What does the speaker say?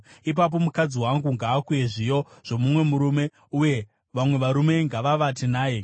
ipapo mukadzi wangu ngaakuye zviyo zvomumwe murume, uye vamwe varume ngavavate naye.